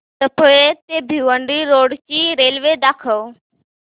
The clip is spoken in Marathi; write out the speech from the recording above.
सफाळे ते भिवंडी रोड ची रेल्वे दाखव